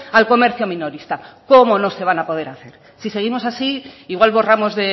al comercio minorista cómo no se van a poder hacer si seguimos así igual borramos